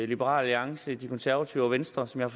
liberal alliance de konservative og venstre som jeg